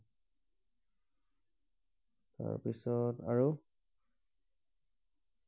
তাৰ পিছত আৰু